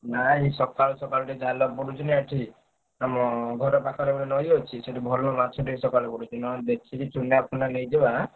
ନାଇଁ ସକାଳୁ ସକାଳୁ ଜାଲପଡୁଛି ନା ଏଠି। ଆମ ଘର ପାଖରେ ଗୋଟେ ନଈ ଅଛି ସେଠି ଭଲ ମାଛ ଟିକେ ସକାଳୁ ପଡୁଛି। ନହେଲେ ଦେଖିକି ଚୁନା ଫୁନା ନେଇଯିବା।